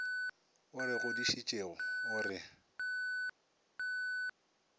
o re godišitšego o re